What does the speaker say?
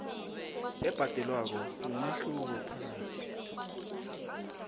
ebhadelwako mumehluko phakathi